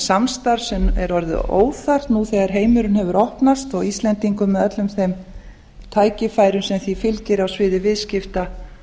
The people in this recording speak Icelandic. samstarf sem er orðið óþarft nú þegar heimurinn hefur opnast íslendingum með öllum tækifærum sem því fylgir á sviði viðskipta